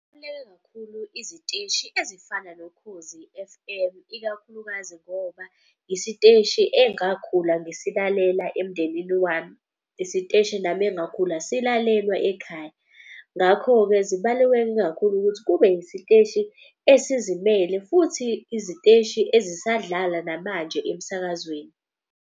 Kubaluleke kakhulu iziteshi ezifana noKhozi F_M ikakhulukazi ngoba isiteshi engakhula ngisilalela emndenini wami. Isiteshi nami engakhula silalelwa ekhaya. Ngakho-ke zibaluleke kakhulu ukuthi kube isiteshi esizimele futhi iziteshi ezisadlala namanje emsakazweni.